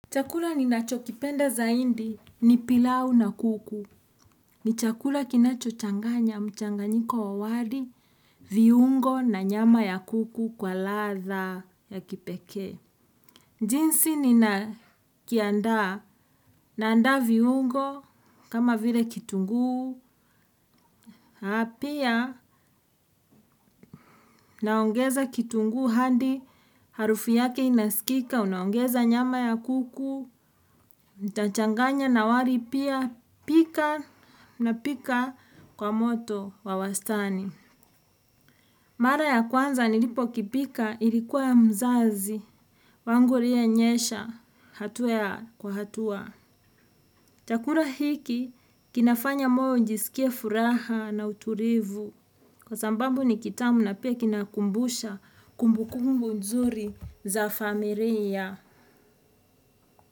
Chakula ni nacho kipenda zaidi ni pilau na kuku. Ni chakula kinacho changanya mchanganyiko wa wali, viungo na nyama ya kuku kwa latha ya kipekee. Jinsi ni na kianda, naanda viungo, kama vile kitungu, na pia naongeza kitungu hadi harufu yake inasikika, unaongeza nyama ya kuku, nitachanganya nawali pia pika na pika kwa moto wa wastani. Mara ya kwanza nilipo kipika ilikuwa ya mzazi. Wangu laiye nyesha hatua kwa hatua. Chakula hiki kinafanya moyo ijisikie furaha na utulivu. Kwa sambambu ni kitamu na pia kinakumbusha kumbukumbu nzuri za familia.